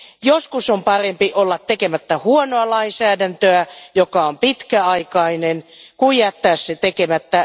Joskus on parempi olla tekemättä huonoa lainsäädäntöä, joka on pitkäaikainen, kuin jättää se tekemättä.